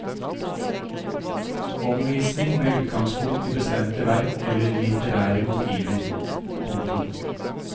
Omvisning med utgangspunkt i bestemte verk eller litterære motiver. punktum